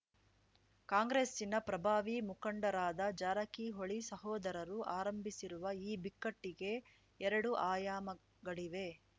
ಕಾಂಗ್ರೆಸ್ಸಿನ ಪ್ರಭಾವಿ ಮುಖಂಡರಾದ ಜಾರಕಿಹೊಳಿ ಸಹೋದರರು ಆರಂಭಿಸಿರುವ ಈ ಬಿಕ್ಕಟ್ಟಿಗೆ ಎರಡು ಆಯಾಮಗಳಿವೆ